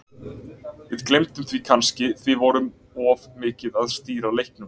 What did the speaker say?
Við gleymdum því kannski því við vorum of mikið að stýra leiknum.